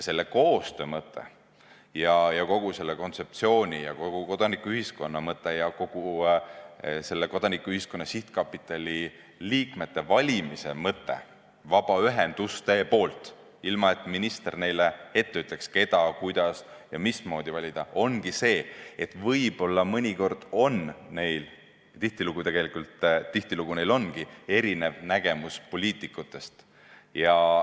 Selle koostöö mõte ja kogu selle kontseptsiooni ja kodanikuühiskonna mõte ja kogu selle Kodanikuühiskonna Sihtkapitali liikmete vabaühendustepoolse valimise mõte – ilma et minister neile ette ütleks, keda, kuidas ja mismoodi valida – ongi see, et võib-olla mõnikord on neil – tihtilugu neil ongi – erinev nägemus poliitikute omast.